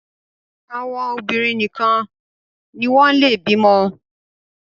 àwọn obinrin nìkàn ní wón le bímo